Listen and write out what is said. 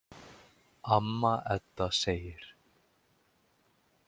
Amma Edda segir.